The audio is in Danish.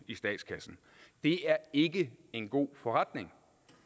i statskassen det er ikke en god forretning